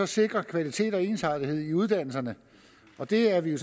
sikre kvalitet og ensartethed i uddannelserne det er vi jo